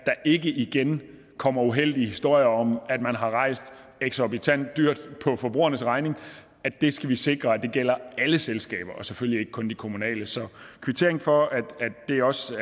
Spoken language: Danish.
ikke igen kommer uheldige historier om at man har rejst eksorbitant dyrt på forbrugernes regning skal vi sikre gælder alle selskaber og selvfølgelig ikke kun de kommunale så kvittering for at det også